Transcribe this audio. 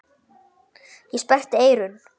Ég sperrti eyrun.